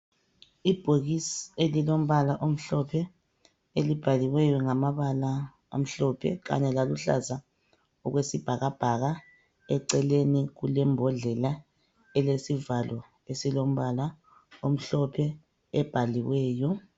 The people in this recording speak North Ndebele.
Ibhokisi elilombala omhlophe elibhaliweyo ngamabala amhlophe kanye laluhlaza okwesibhakabhaka. Eceleni kulembodlela elesivalo esilombala omhlophe ebhaliweyo.